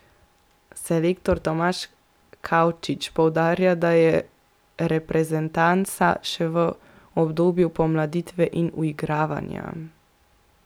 Selektor Tomaž Kavčič poudarja, da je reprezentanca še v obdobju pomladitve in uigravanja.